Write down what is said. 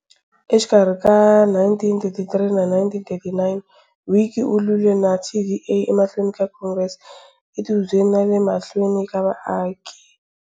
Exikarhi ka 1933 na 1939, Willkie u lwile na TVA emahlweni ka Congress, etihubyeni, na le mahlweni ka vaaki.